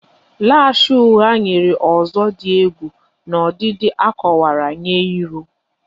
Lash ugha nyere ọzọ dị egwu n'ọdịdị a kowara nye iru